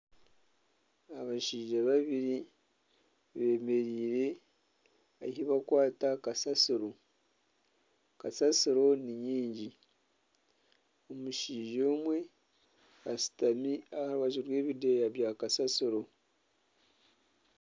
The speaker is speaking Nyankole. Abashaija babiri bemereire ahi bakwaata kasaasiro, kasaasiro ni nyingi omushaija omwe ashutami aharubaju rw'ebideeya bya kasaasiro.